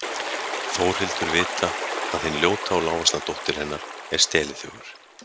Þórhildur vita að hin ljóta og lágvaxna dóttir hennar er steliþjófur?